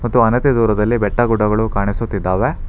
ಮತ್ತು ಅಣತೆ ದೂರದಲ್ಲಿ ಬೆಟ್ಟ ಗುಡ್ಡಗಳು ಕಾಣಿಸುತ್ತಿದ್ದಾವೆ.